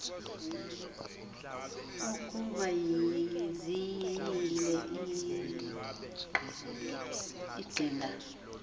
ukuba ziyile iqhinga